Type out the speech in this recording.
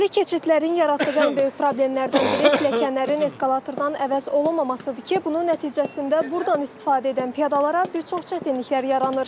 Belə keçidlərin yaratdığı ən böyük problemlərdən biri pilləkənlərin eskalatordan əvəz olunmamasıdır ki, bunun nəticəsində burdan istifadə edən piyadalara bir çox çətinliklər yaranır.